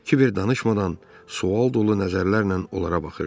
Kiber danışmadan, sual dolu nəzərlərlə onlara baxırdı.